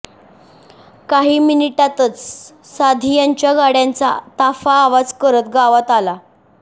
काही मिनिटातचं सांधियांच्या गाड्यांचा ताफा आवाज करत गावात आला